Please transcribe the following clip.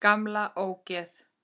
Gamla ógeð!